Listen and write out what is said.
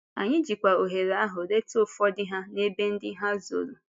Anyị jịkwa ohere ahụ leta ụfọdụ ha n’ebe ndị ha zọrò.